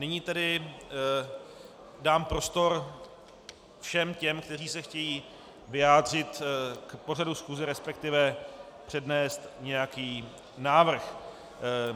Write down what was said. Nyní tedy dám prostor všem těm, kteří se chtějí vyjádřit k pořadu schůze, respektive přednést nějaký návrh.